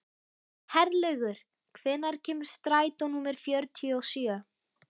Herlaugur, hvenær kemur strætó númer fjörutíu og sjö?